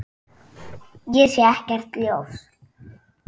Ég sé ekkert ljós.